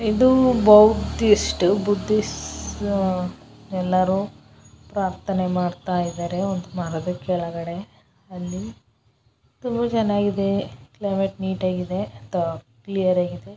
ಇದು Buddhist Buddhists ಎಲ್ಲರೂ ಪ್ರಾರ್ಥನೆ ಮಾಡ್ತಾ ಇದ್ದಾರ ಕೆಳಗಡೆ ಅಲ್ಲಿ ಎಷ್ಟೋ ಜನ ಇದೆ ಕ್ಲೈಮೇಟ್ ನೀಟಾಗಿದೆ ಕ್ಲಿಯರ್ ಆಗಿದೆ ।